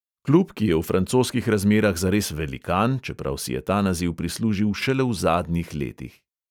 Klub, ki je v francoskih razmerah zares velikan, čeprav si je ta naziv prislužil šele v zadnjih letih.